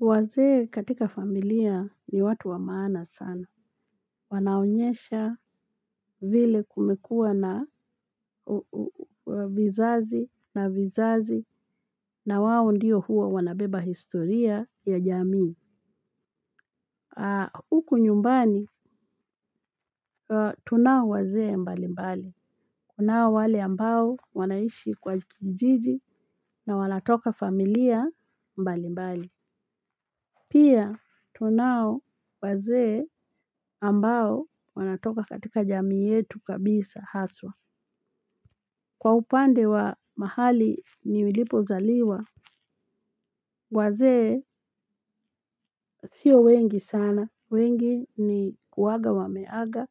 Wazee katika familia ni watu wa maana sana, wanaonyesha vile kumekua na vizazi na vizazi na wao ndiyo huwa wanabeba historia ya jamii. Huku nyumbani tunao wazee mbali mbali, kunao wale ambao wanaishi kwa kijiji na wanatoka familia mbali mbali. Pia tunao wazee ambao wanatoka katika jamii yetu kabisa haswa. Kwa upande wa mahali nilipo zaliwa. Wazee sio wengi sana wengi ni huaga wameaga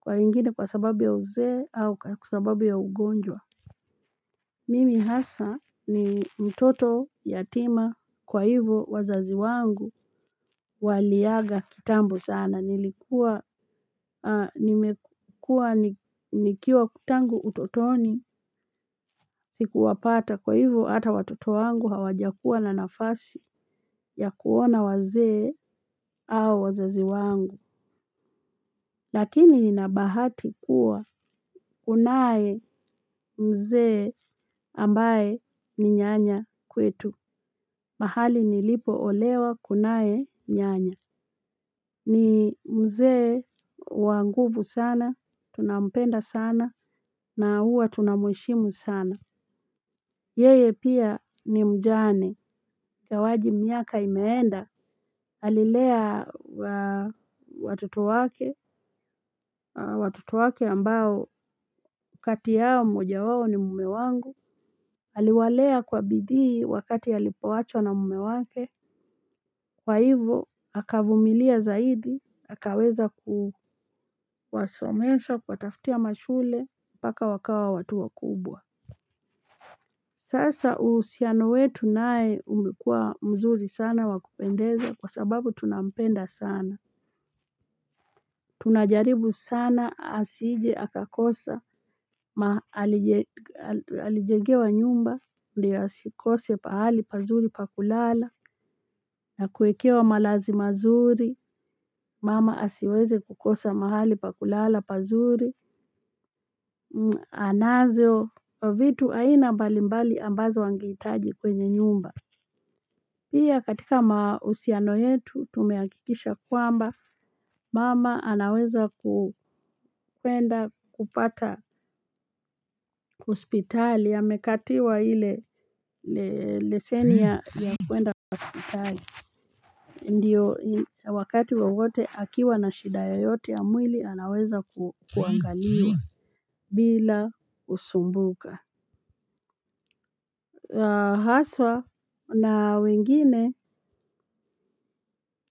kwa wengine kwa sababu ya uzee au kwa sababu ya ugonjwa. Mimi hasa ni mtoto yatima kwa hivo wazazi wangu waliaga kitambo sana nilikuwa nikiwa tangu utotoni siku wapata kwa hivo hata watoto wangu hawajakua na nafasi ya kuona wazee au wazazi wangu. Lakini nina bahati kuwa kunae mzee ambae ni nyanya kwetu. Mahali nilipo olewa kunae nyanya. Ni mzee wanguvu sana, tunampenda sana, na huwa tunamheshimu sana. Yeye pia ni mjane. Ingawaji miaka imeenda. Alilea watoto wake, watoto wake ambao kati yao moja wao ni mume wangu. Aliwalea kwa bidii wakati alipowachwa na mume wake. Wazee katika familia ni watu wa maana sana, wanaonyesha vile kumekua na vizazi na vizazi na wao ndiyo huwa wanabeba historia ya jamii. Sasa uhusiano wetu nae ulikuwa mzuri sana wakupendeza kwa sababu tunampenda sana. Tunajaribu sana asije, aka kosa, mahali alijengewa nyumba, ndio asikose pahali pazuri pakulala, na kuekewa malazi mazuri, mama asiweze kukosa mahali pakulala pazuri, anazo, vitu aina mbali mbali ambazo angeitaji kwenye nyumba. Hii ya katika mahusiano yetu tumehakikisha kwamba, mama anaweza kupenda kupata hospitali, amekatiwa ile leseni ya kuenda kwa hospitali. Ndiyo wakati wowote akiwa na shida yoyote ya mwili anaweza kuangaliwa bila kusumbuka. Haswa na wengine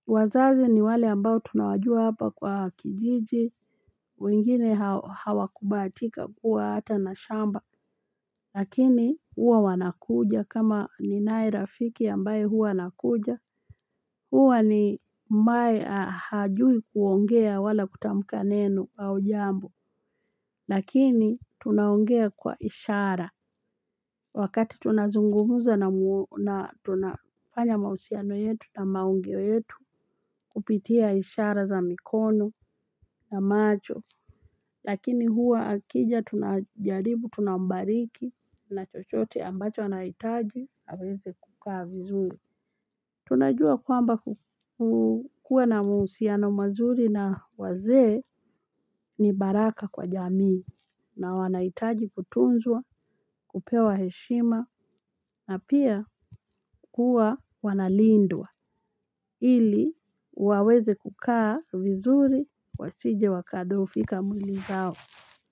wazazi ni wale ambao tunawajua hapa kwa kijiji. Wengine hawa kubahatika kuwa hata na shamba. Lakini huwa wanakuja kama ninae rafiki ambaye huwa anakuja. Huwa ni mmae hajui kuongea wala kutamka neno au jambo, lakini tunaongea kwa ishara. Wakati tunazungumuza na tunafanya mahusiano yetu na maongeo yetu kupitia ishara za mikono na macho. Lakini huwa akija tunajaribu, tunambariki na chochote ambacho anahitaji, aweze kukaa vizuri. Tunajua kwamba kukua na mahusiano mazuri na wazee ni baraka kwa jamii. Na wanahitaji kutunzwa, kupewa heshima na pia kuwa wanalindwa ili waweze kukaa vizuri wasije wakadhofika mwili zao.